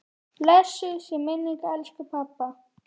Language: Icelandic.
Blessuð sé minning elsku pabba.